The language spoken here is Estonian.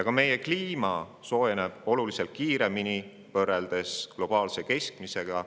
Ka meie kliima soojeneb globaalsest keskmisest oluliselt kiiremini.